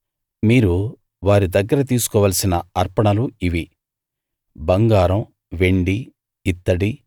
మీరు వారి దగ్గర తీసుకోవలసిన అర్పణలు ఇవి బంగారం వెండి ఇత్తడి